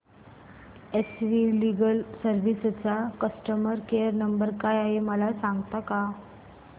S V legal services चा customer care number काय आहे मला सांगता का